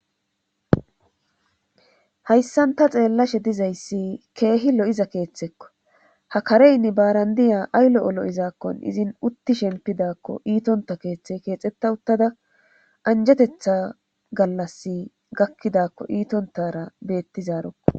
Hayssan ta xeellashe dizayssi keehi lo7iza keeththekko ha kareynne baarandiya aylo olo'izaakkon izin utti shempidakko iitonta keeththe keexetta uttada anjetetha gallas gakkidakko iitontara beetti zaarokko.